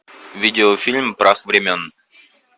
видеофильм прах времен